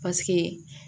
Paseke